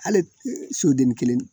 Hali soden kelen